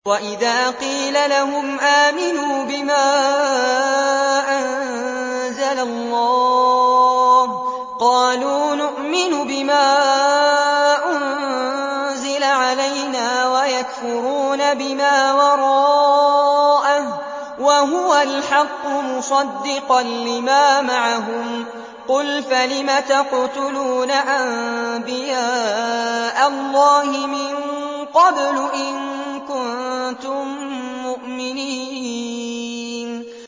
وَإِذَا قِيلَ لَهُمْ آمِنُوا بِمَا أَنزَلَ اللَّهُ قَالُوا نُؤْمِنُ بِمَا أُنزِلَ عَلَيْنَا وَيَكْفُرُونَ بِمَا وَرَاءَهُ وَهُوَ الْحَقُّ مُصَدِّقًا لِّمَا مَعَهُمْ ۗ قُلْ فَلِمَ تَقْتُلُونَ أَنبِيَاءَ اللَّهِ مِن قَبْلُ إِن كُنتُم مُّؤْمِنِينَ